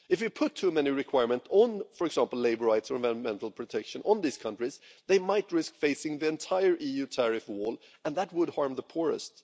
If we place too many requirements on, for example, labour rights or environmental protection on these countries they could risk facing the entire EU tariff wall, and that would harm the poorest.